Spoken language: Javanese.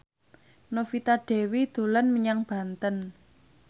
Novita Dewi dolan menyang Banten